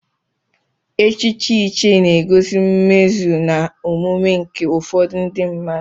Echichi ichie na-egosi mmezu na omume nke ụfọdụ ndị mmadụ.